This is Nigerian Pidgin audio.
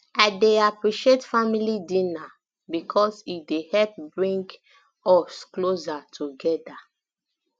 i dey appreciate family dinner because e dey help bring um us closer together